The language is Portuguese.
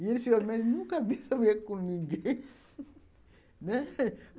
E ele diz assim, eu nunca vi essa mulher com ninguém, né.